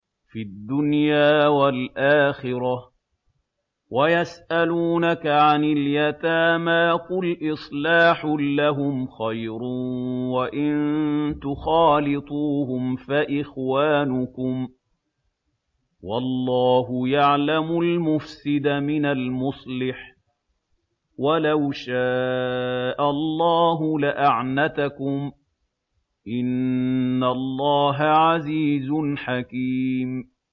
فِي الدُّنْيَا وَالْآخِرَةِ ۗ وَيَسْأَلُونَكَ عَنِ الْيَتَامَىٰ ۖ قُلْ إِصْلَاحٌ لَّهُمْ خَيْرٌ ۖ وَإِن تُخَالِطُوهُمْ فَإِخْوَانُكُمْ ۚ وَاللَّهُ يَعْلَمُ الْمُفْسِدَ مِنَ الْمُصْلِحِ ۚ وَلَوْ شَاءَ اللَّهُ لَأَعْنَتَكُمْ ۚ إِنَّ اللَّهَ عَزِيزٌ حَكِيمٌ